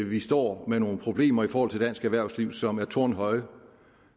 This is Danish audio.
vi står med nogle problemer i forhold til dansk erhvervsliv som er tårnhøje